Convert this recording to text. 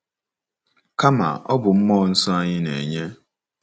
Kama, ọ bụ mmụọ nsọ anyị na-enye.